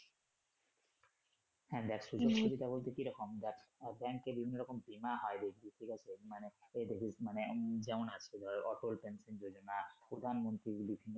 হ্যা দেখ সুযোগ সুবিধা বলতে কি রকম দেখ ব্যাংকে বিভিন্ন রকম বীমা হয় বুঝলি ঠিক আছে মানে এই দেখিস মানে যেমন আছে ধর অটোল ব্যাংকিং প্রধানমন্ত্রীর বিভিন্ন